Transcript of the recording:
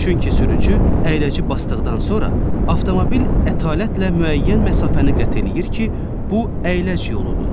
Çünki sürücü əyləci basdıqdan sonra avtomobil ətalətlə müəyyən məsafəni qət eləyir ki, bu əyləc yoludur.